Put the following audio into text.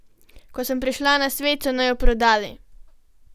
Ko sem prišla na svet, so naju prodali.